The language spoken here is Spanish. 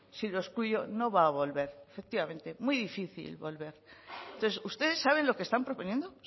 si lo excluyo no va a volver efectivamente muy difícil volver entonces ustedes saben lo que están proponiendo